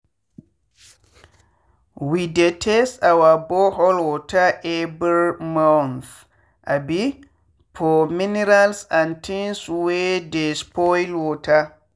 we dey test our borehole water every month um for minerals and things wey dey spoil water.